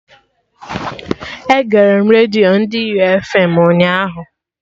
Egere m redio ndị U fm ụnyaahụ